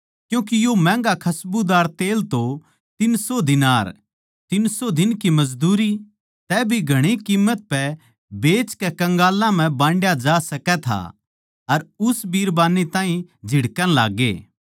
क्यूँके यो महँगा खसबूदार तेल तो तीन सौ दीनार तीन सौ दिन की मजदूरी तै भी घणी कीम्मत पै बेचकै कंगालां म्ह बांडया जा सकै था अर उस बिरबान्नी ताहीं झिड़कण लाग्गे